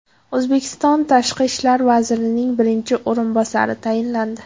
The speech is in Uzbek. O‘zbekiston Tashqi ishlar vazirining birinchi o‘rinbosari tayinlandi.